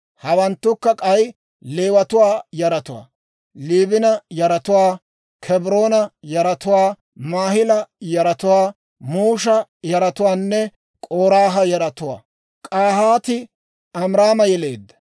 Hawanttukka k'ay Leewatuwaa yaratuwaa: Liibina yaratuwaa, Kebroona yaratuwaa, Maahila yaratuwaa, Musha yaratuwaanne K'oraaha yaratuwaa. K'ahaati Amiraama yeleedda.